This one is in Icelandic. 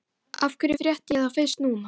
Af hverju frétti ég þetta fyrst núna?